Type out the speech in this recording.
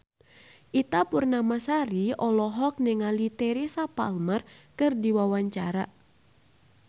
Ita Purnamasari olohok ningali Teresa Palmer keur diwawancara